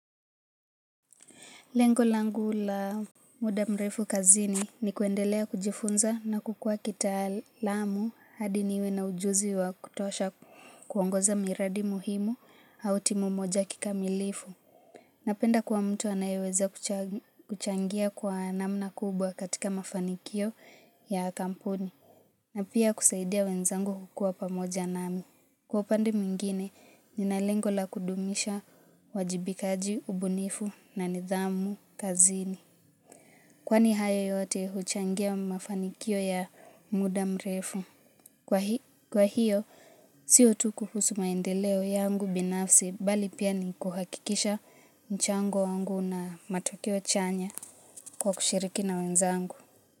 Lengo langu la muda mrefu kazini ni kuendelea kujifunza na kukua kitaalamu hadi niwe na ujuzi wa kutosha kuongoza miradi muhimu au timu moja kikamilifu. Napenda kuwa mtu anayeweza kuchangia kwa namna kubwa katika mafanikio ya kampuni na pia kusaidia wenzangu kukua pamoja nami. Kwa upande mwingine, nina lengo la kudumisha uwajibikaji, ubunifu na nidhamu, kazini. Kwani hayo yote huchangia mafanikio ya muda mrefu. Kwa hiyo, sio tu kuhusu maendeleo yangu binafsi, bali pia ni kuhakikisha mchango wangu na matokeo chanya kwa kushiriki na wenzangu.